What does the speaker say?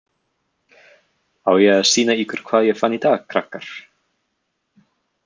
Á ég að sýna ykkur hvað ég fann í dag, krakkar?